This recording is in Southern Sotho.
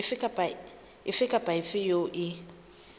efe kapa efe eo e